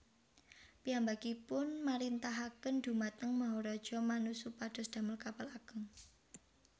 Piyambakipun marintahaken dhumateng Maharaja Manu supados damel kapal ageng